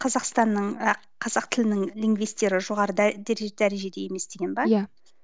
қазақстанның ы қазақ тілінің лингвистері жоғары дәрежеде емес деген бе иә